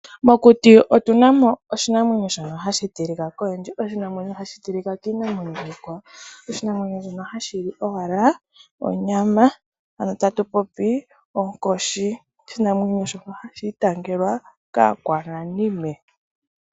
Mokuti otuna mo oshinamwenyo shono hashi tilika koyendji. Oshinamwenyo hashi tilika kiinamwenyo ikwawo. Oshinamwenyo shono hashi li owala onyama. Ano tatu popi onkoshi. Oshinamwenyo shono hashi itangelwa kaakwananime.